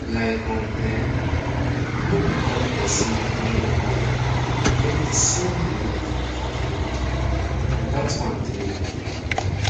like um eh no be all person wey no wel get de same belief for healing and dat one dey okay